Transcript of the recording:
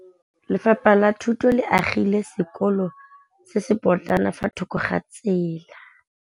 Lefapha la Thuto le agile sekôlô se se pôtlana fa thoko ga tsela.